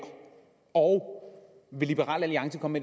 og vil liberal alliance komme